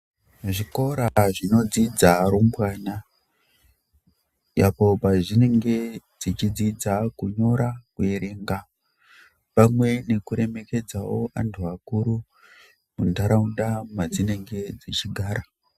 Zvikora zvinodzidza rumbwana pazvinenge zvichidzidza kunyora kana kuerenga pamwe nekuremekedzawo antu akuru muntaraunda madzinenge dzichigara.